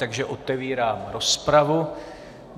Takže otevírám rozpravu.